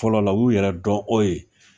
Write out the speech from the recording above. Fɔlɔ la u y'u yɛrɛ dɔn o ye